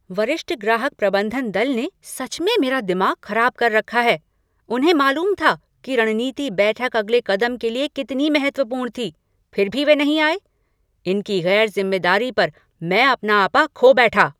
वरिष्ठ ग्राहक प्रबंधन दल ने सच में मेरा दिमाग ख़राब कर रखा है। उन्हें मालूम था कि रणनीति बैठक अगले कदम के लिए कितनी महत्वपूर्ण थी फ़िर भी वे नहीं आए। इनकी गैर ज़िम्मेदारी पर मैं अपना आपा खो बैठा।